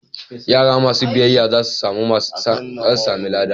Yara masu biyayya za su sami lada.